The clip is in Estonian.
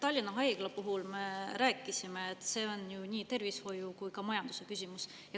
Tallinna Haigla puhul me rääkisime, et see on nii tervishoiu‑ kui ka majandusküsimus.